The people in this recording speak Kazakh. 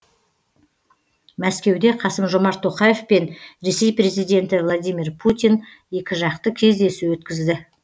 мәскеуде қасым жомарт тоқаев пен ресей президенті владимир путин екіжақты кездесу өткізді